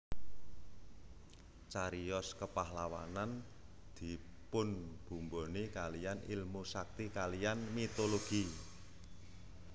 Cariyos kepahlawanan dipunbumboni kaliyan ilmu sakti kaliyan mitologi